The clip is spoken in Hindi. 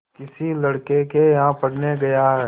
किसी लड़के के यहाँ पढ़ने गया है